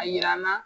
A yira n na